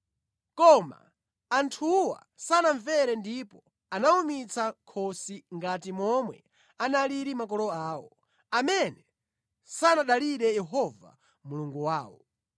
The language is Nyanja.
Koma anthuwa sanamvere ndipo anawumitsa khosi ngati momwe analili makolo awo, amene sanadalire Yehova Mulungu wawo.